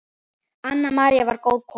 Anna María var góð kona.